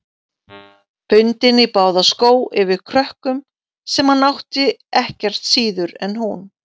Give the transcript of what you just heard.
Bundin í báða skó yfir krökkum, sem hann átti ekkert síður en hún.